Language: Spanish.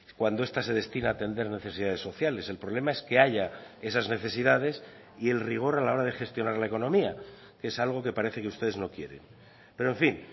cuando esta se destina a atender necesidades sociales el problema es que haya esas necesidades y el rigor a la hora de gestionar la economía que es algo que parece que ustedes no quieren pero en fin